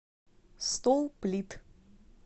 столплит